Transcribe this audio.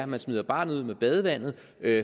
man smider barnet ud med badevandet